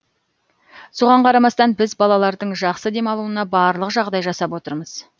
соған қарамастан біз балалардың жақсы демалуына барлық жағдай жасап отырмыз